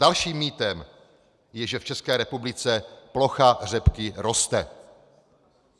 Dalším mýtem je, že v České republice plocha řepky roste.